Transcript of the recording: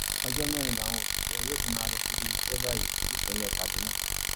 ọjọ mẹrin làwọn òṣìṣẹ yóò fi máa lọ síbi iṣẹ báyìí nípínlẹ kaduna